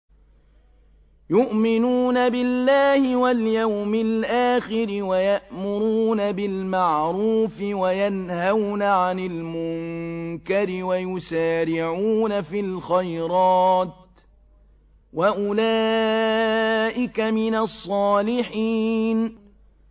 يُؤْمِنُونَ بِاللَّهِ وَالْيَوْمِ الْآخِرِ وَيَأْمُرُونَ بِالْمَعْرُوفِ وَيَنْهَوْنَ عَنِ الْمُنكَرِ وَيُسَارِعُونَ فِي الْخَيْرَاتِ وَأُولَٰئِكَ مِنَ الصَّالِحِينَ